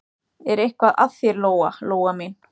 Er eitthvað að þér, Lóa Lóa mín?